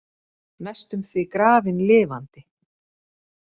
Næstum því grafin lifandi